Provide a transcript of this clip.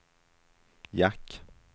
jack